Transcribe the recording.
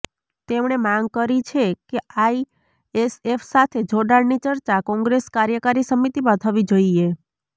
તેમણે માંગ કરી છે કે આઈએસએફ સાથે જોડાણની ચર્ચા કોંગ્રેસ કાર્યકારી સમિતિમાં થવી જોઈએ